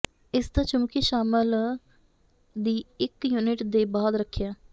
ਇਸ ਦਾ ਚੁੰਬਕੀ ਸ਼ਾਮਲ ਦੀ ਇੱਕ ਯੂਨਿਟ ਦੇ ਬਾਅਦ ਰੱਖਿਆ